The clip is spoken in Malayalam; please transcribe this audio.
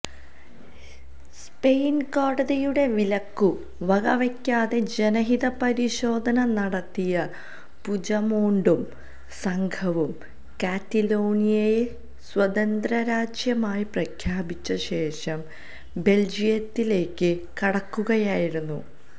സ്പെയിൻ കോടതിയുടെ വിലക്കു വകവയ്ക്കാതെ ജനഹിതപരിശോധന നടത്തിയ പുജമോണ്ടും സംഘവും കാറ്റലോണിയയെ സ്വതന്ത്രരാജ്യമായി പ്രഖ്യാപിച്ചശേഷം ബെൽജിയത്തിലേക്കു കടക്കുകയായിരുന്നു